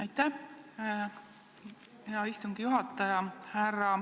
Aitäh, hea istungi juhataja!